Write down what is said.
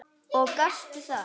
Og gastu það?